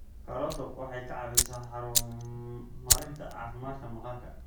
Karooto waxay ka caawisaa horumarinta caafimaadka maqaarka.